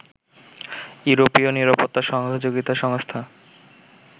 ইউরোপীয় নিরাপত্তা সহযোগিতা সংস্থা